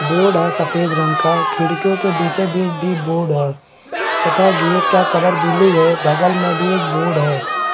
Board है सफ़ेद रंग का खिड़कीयो के बीचों-बीच भी बोर्ड हैं तथा गेट कलर ब्लू हैं बगल में भी एक बोर्ड है।